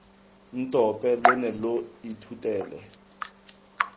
ntope lo ne lo ithutela